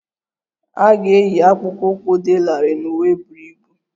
A ga-eyi akpụkpọ ụkwụ dị larịị na uwe buru ibu